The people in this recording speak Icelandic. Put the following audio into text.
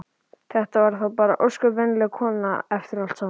Þetta var þá bara ósköp venjuleg kona eftir allt saman.